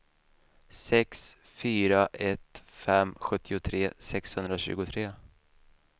sex fyra ett fem sjuttiotre sexhundratjugotre